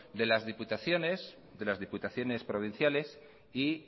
de las diputaciones de las diputaciones provinciales y